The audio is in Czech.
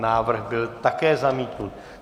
Návrh byl také zamítnut.